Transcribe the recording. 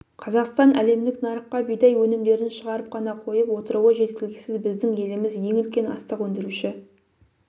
қазақстан әлемдік нарыққа бидай өнімдерін шығарып қана қойып отыруы жеткіліксіз біздің еліміз ең үлкен астық өндіруші